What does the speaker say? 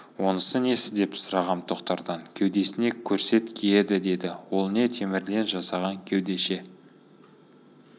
онысы несі деп сұрағам тоқтардан кеудесіне көрсет киеді деді ол не темірден жасаған кеудеше